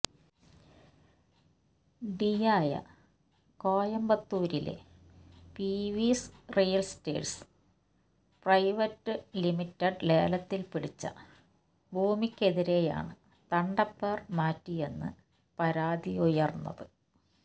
ഡിയായ കോയമ്പത്തൂരിലെ PVS realtors private limited ലേലത്തിൽ പിടിച്ച ഭൂമിക്കെതിരെയാണ് തണ്ടപ്പേർ മാറ്റിയെന്ന് പരാതിയുയർന്നത്